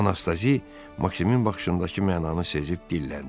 Anastazi Maksimin baxışındakı mənanı sezib dilləndi.